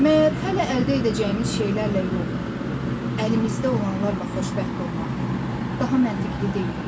Məyər hələ əldə edəcəyimiz şeylərlə yox, əlimizdə olanlarla xoşbəxt olmaq daha məntiqi deyil?